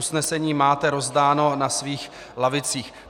Usnesení máte rozdáno na svých lavicích.